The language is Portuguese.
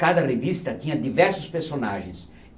Cada revista tinha diversos personagens.